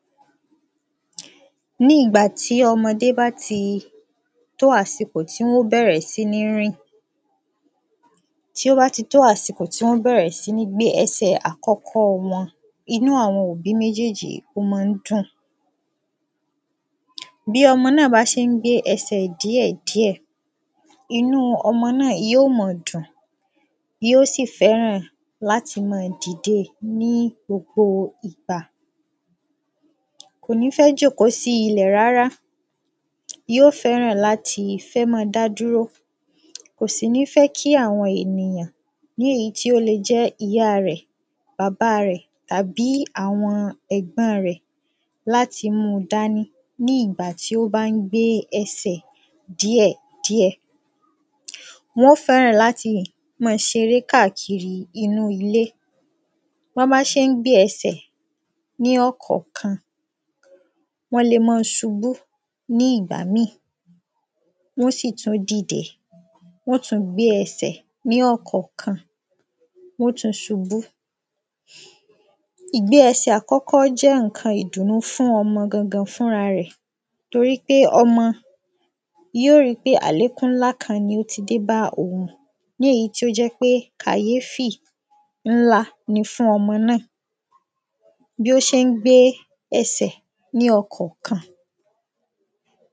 Ní ìgbà ní o̩mo̩dé bá ti tó àsìkò tí wó̩n ó bè̩rè̩ sí ní rìn. Tí ó bá ti tó àsìkò tí wó̩n bè̩rè̩ sí ní gbé e̩sè̩ àkó̩kó̩ wo̩n, inú àwo̩n òbí méjéjì ó man ń dùn. Bí o̩mo̩ náà bá se ń gbé e̩sè̩ díè̩ díè̩, inú o̩mo̩ náà yó ma dùn. Yó sì fé̩ràn láti man dìde ní gbogbo ìgbà. Kò ní fé̩ jòkó sí ilè̩ rárá. Yó fé̩ràn láti fé̩ mán-an dá dúró. Kò sì ní fé̩ kí àwo̩n ènìyàn, èyí tí ó lè jé̩ ìyá rè̩, bàbá rè̩, àbí àwo̩n è̩gbó̩n rè̩ láti mú-un dání ní ìgbà tí ó bá ń gbé e̩sè̩ díè̩ díè̩. Wo̩n ó fé̩ràn láti má a seré kákiri inú ilé. Bó̩n bá sé ń gbé e̩sè̩ ní ò̩kò̩kan, wó̩n le man subú ní ìgbà mí. Wó̩n ó sì tún dìde. Wó̩n ó tún gbé e̩sè̩ ní ò̩kò̩kan, wó̩n ó tún subú. Ìgbé e̩sè̩ àkó̩kó̩ jé̩ ǹkan ìdùnnú fún o̩mo̩ gangan fúnra rè̩. Torípé o̩mo̩ yó ri pé àlékún ńlá kan ni ó ti dé bá òun. Ní èyí tí ó jé̩ pé kàyéfì ńlá ni fún o̩mo̩ náà. Bí ó sé ń gebé e̩sè̩ ní o̩kò̩kan.